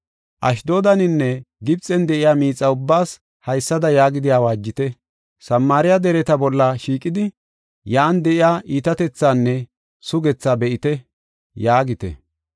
Ashdoodaninne Gibxen de7iya miixa ubbaas haysada yaagidi awaajite: “Samaariya dereta bolla shiiqidi, yan de7iya iitatethaanne sugethaa be7ite” yaagite.